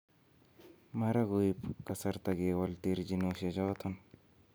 mara koib kasarta kewol terchinoshiechoton